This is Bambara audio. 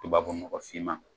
Tubabu nɔgɔ finman